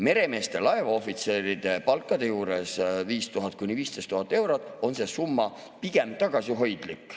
Meremeeste, laevaohvitseride palkade juures, mis on 5000 – 15 000 eurot, on see summa pigem tagasihoidlik.